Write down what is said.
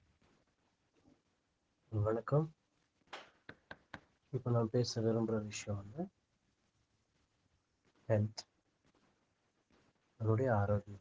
வணக்கம் இப்போ நான் பேச விரும்புற விஷயம் வந்து health நம்மளுடைய ஆரோக்கியம்